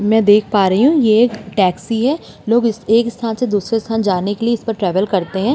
मैं देख प रही हूँ टैक्सी है। लोग एक स्थान से दूसरी स्थान जाने के लिए इसको ट्रैवल करते हैं।